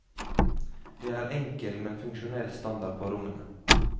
Det er enkel, men funksjonell standard på rommene.